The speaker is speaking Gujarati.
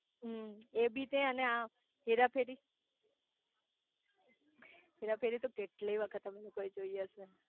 હમ્મ એબી તે અને આ હેરા ફેરી હેરા ફરી તો કેટલી વખત અમે લોકો એ જોઈ હશે